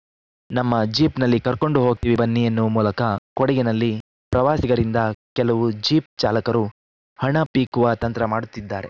ನಮ್ಮ ಜೀಪ್‌ನಲ್ಲಿ ಕರ್ಕೊಂಡು ಹೋಗ್ತೀವಿ ಬನ್ನಿ ಎನ್ನುವ ಮೂಲಕ ಕೊಡಗಿನಲ್ಲಿ ಪ್ರವಾಸಿಗರಿಂದ ಕೆಲವು ಜೀಪ್‌ ಚಾಲಕರು ಹಣ ಪೀಕುವ ತಂತ್ರ ಮಾಡುತ್ತಿದ್ದಾರೆ